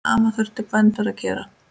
Sama þurfi bændur að gera.